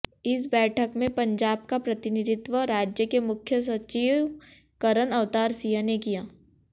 इस बैठक में पंजाब का प्रतिनिधित्व राज्य के मुख्य सचिव करण अवतार सिंह ने किया